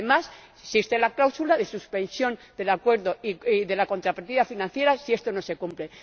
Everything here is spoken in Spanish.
Y, además, existe la cláusula de suspensión del Acuerdo y de la contrapartida financiera si esto no se cumple.